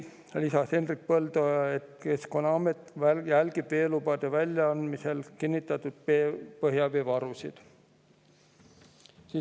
Hendrik Põldoja lisas, et Keskkonnaamet jälgib veelubade väljaandmisel kinnitatud põhjaveevarusid.